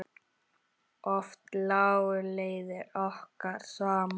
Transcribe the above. Oft lágu leiðir okkar saman.